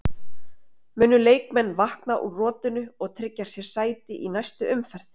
Munu leikmenn vakna úr rotinu og tryggja sér sæti í næstu umferð?